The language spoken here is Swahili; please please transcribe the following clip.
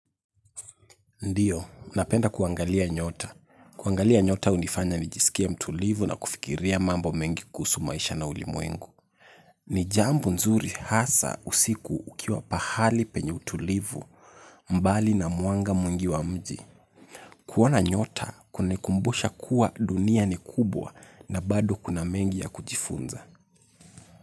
Ndiyo, napenda kuangalia nyota. Kuangalia nyota unifanya ni jisikie mtulivu na kufikiria mambo mengi kuhusu maisha na ulimwengu. Nijambo nzuri hasa usiku ukiwa pahali penye utulivu mbali na mwanga mwingi wa mji. Kuona nyota kunikumbusha kuwa dunia ni kubwa na bado kuna mengi ya kujifunza.